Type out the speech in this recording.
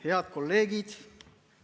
Head kolleegid!